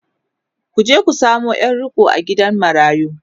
ku je ku samo Yar riƙo a gidan marayu!